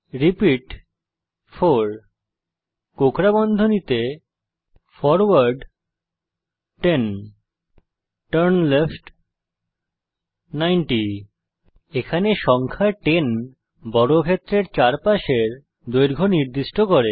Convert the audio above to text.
repeat 4 কোঁকড়া বন্ধনীতে forward 10 turn left 90 এখানে সংখ্যা 10 বর্গক্ষেত্রের চারপাশের দৈর্ঘ্য নির্দিষ্ট করে